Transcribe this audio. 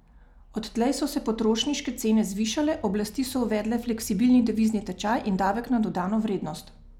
Odtlej so se potrošniške cene zvišale, oblasti so uvedle fleksibilni devizni tečaj in davek na dodano vrednost.